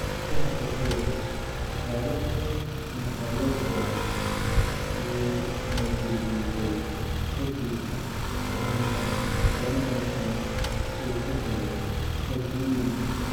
Fahamka sawirka, Salehe Mkalekwa wuu na dul jiifay kadib dhanbaanxun uu ka helay Okwiri.